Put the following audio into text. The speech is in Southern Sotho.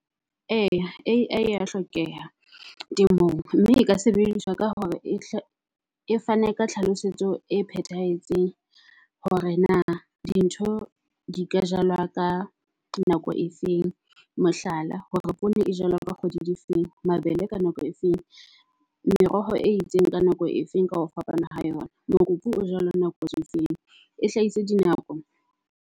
Eya A_I ya hlokeha temong, mme e ka sebediswa ka hore e fane ka tlhalosetso e phethahetseng hore na di ntho di ka jalwa ka nako e feng. Mohlala hore poone e jalwa ka di kgwedi di feng, mabele ka nako e feng meroho e itseng ka nako e feng, ka ho fapana ha yona. Mokopu o jwalo nako e feng e hlahise di nako.